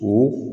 O